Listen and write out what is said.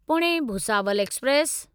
Pune Bhusawal express